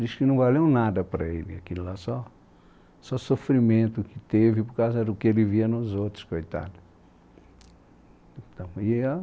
Diz que não valeu um nada para ele aquilo lá, só só sofrimento que teve por causa do que ele via nos outros, coitado.